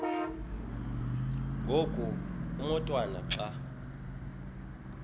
ngoku umotwana xa